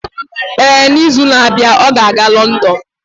Ee, n'izu na-abịa, ọ ga-aga Lọndon.